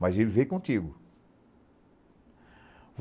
Mas ele veio contigo.